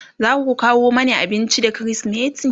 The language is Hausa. zaku kawo Mani abinci da krismeti?